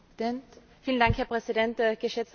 Herr Präsident, geschätzter Herr Kommissar!